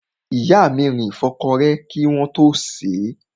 Ìyá mi rin ìfọ́kọrẹ́ kí wọ́n tó sèé.